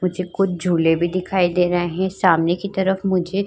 मुझे कुछ झूले भी दिखाई दे रहे हैं। सामने की तरफ मुझे --